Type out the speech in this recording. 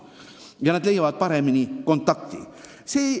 Ja me leiame idas paremini kontakti kui teised.